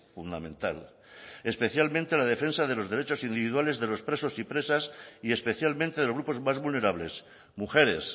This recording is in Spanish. fundamental especialmente en la defensa de los derechos individuales de los presos y presas y especialmente de los grupos más vulnerables mujeres